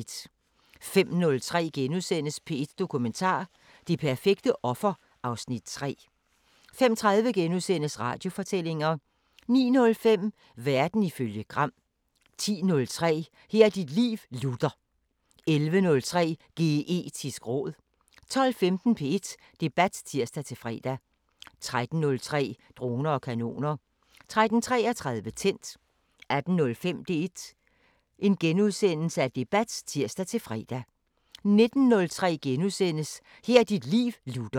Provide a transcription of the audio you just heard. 05:03: P1 Dokumentar: Det perfekte offer (Afs. 3)* 05:30: Radiofortællinger * 09:05: Verden ifølge Gram 10:03: Her er dit liv, Luther! 11:03: Geetisk råd 12:15: P1 Debat (tir-fre) 13:03: Droner og kanoner 13:33: Tændt 18:05: P1 Debat *(tir-fre) 19:03: Her er dit liv, Luther! *